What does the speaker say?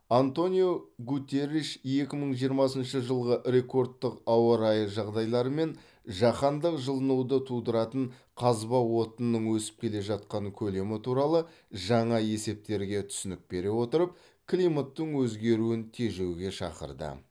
антониу гуттерриш екі мың жиырмасыншы жылғы рекордтық ауа райы жағдайлары мен жаһандық жылынуды тудыратын қазба отынының өсіп келе жатқан көлемі туралы жаңа есептерге түсінік бере отырып климаттың өзгеруін тежеуге шақырды